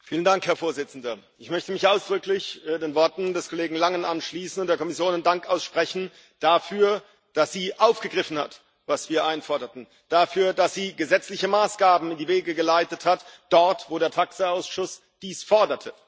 Herr Präsident! Ich möchte mich ausdrücklich den Worten des Kollegen Langen anschließen und der Kommission meinen Dank aussprechen dafür, dass sie aufgegriffen hat, was wir einforderten, dafür, dass sie gesetzliche Maßgaben in die Wege geleitet hat, dort, wo der TAXE Ausschuss dies forderte.